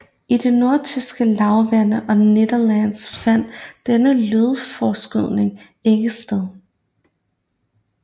I det nordtyske lavland og Nederlandene fandt denne lydforskydning ikke sted